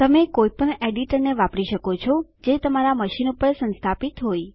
તમે કોઈપણ એડીટરને વાપરી શકો છો જે તમારા મશીન કોમપ્યુંટર પર સંસ્થાપિત હોય